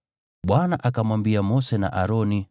Bwana akamwambia Mose na Aroni,